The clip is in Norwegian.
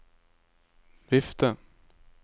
vifte